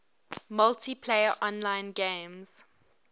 multiplayer online games